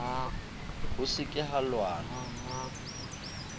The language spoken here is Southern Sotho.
ho se ke ha lwanwa